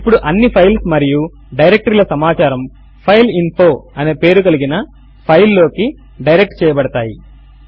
ఇప్పుడు అన్ని ఫైల్స్ మరియు డైరెక్టరీ ల సమాచారము ఫైల్ఇన్ఫో అనే పేరు కలిగిన ఫైల్ లోకి డైరెక్ట్ చేయబడతాయి